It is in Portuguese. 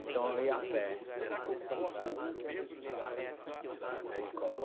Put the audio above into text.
Então, eu ia a pé até a até a escola.